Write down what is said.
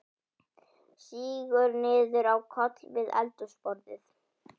Sígur niður á koll við eldhúsborðið.